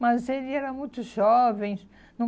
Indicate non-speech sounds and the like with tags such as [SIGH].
Mas ele era muito jovem. [UNINTELLIGIBLE]